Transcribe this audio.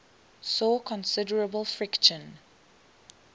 saw considerable friction